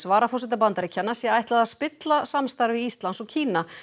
varaforseta Bandaríkjanna sé ætlað að spilla samstarfi Íslands og Kína